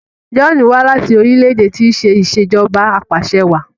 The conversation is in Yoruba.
John wá láti orílẹ̀-èdè tí ṣe Ìṣèjọba Apàṣẹwàá